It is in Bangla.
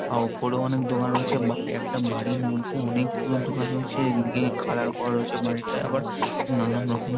উপরে অনেক দোকান রয়েছে একটা বাড়ির মধ্যে অনেক গুলো দোকান রয়েছে এদিকে কালার করা রয়েছে বাড়িটা আবার নানান রকমের--